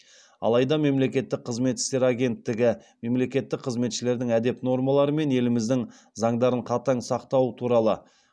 алайда мемлекеттік қызмет істері агенттігі мемлекеттік қызметшілердің әдеп нормалары мен еліміздің заңдарын қатаң сақтауы туралы